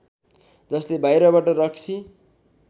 जसले बाहिरबाट रक्सी